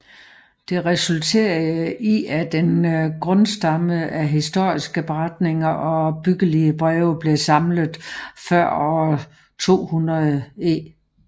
Det resulterede i at en grundstamme af historiske beretninger og opbyggelige breve blev samlet før år 200 e